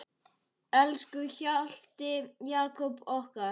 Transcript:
Elsku Hjalti Jakob okkar.